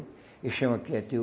Esse chão aqui é teu.